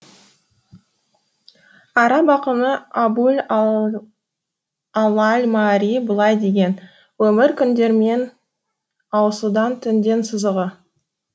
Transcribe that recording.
араб ақыны абу ль ала аль маарри былай деген өмір күндермен ауысудан түнден сызығы